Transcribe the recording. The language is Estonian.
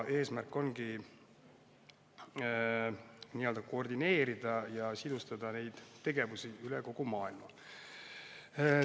Eesmärk ongi koordineerida ja sidustada neid tegevusi üle kogu maailma.